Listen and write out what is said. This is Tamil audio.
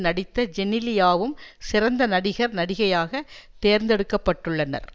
நடித்த ஜெனிலியாவும் சிறந்த நடிகர் நடிகையாக தேர்ந்தெடுக்கப்பட்டுள்ளனர்